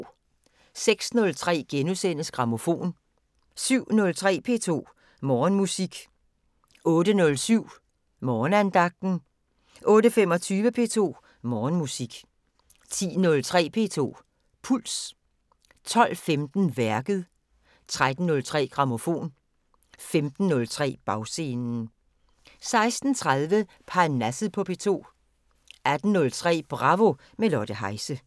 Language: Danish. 06:03: Grammofon * 07:03: P2 Morgenmusik 08:07: Morgenandagten 08:25: P2 Morgenmusik 10:03: P2 Puls 12:15: Værket 13:03: Grammofon 15:03: Bagscenen 16:30: Parnasset på P2 18:03: Bravo – med Lotte Heise